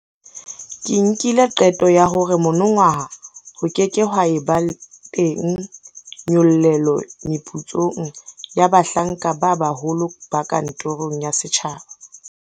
Ke nkile qeto ya hore monongwaha ho ke ke ha eba teng nyollelo meputsong ya bahlanka ba baholo ba kantorong ya setjhaba.